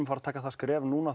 fara að taka það skref núna